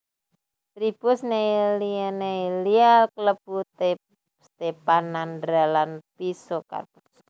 Tribus Neillieae Neillia klebu Stephanandra lan Physocarpus